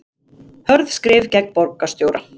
Hörð skrif gegn borgarstjóra